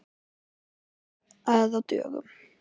Sýnir það að á dögum